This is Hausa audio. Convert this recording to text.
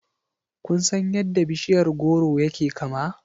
Kun san yadda bishiyar goro yake kama?